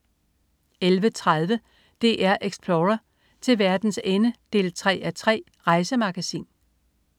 11.30 DR-Explorer: Til Verdens Ende 3:3. Rejsemagasin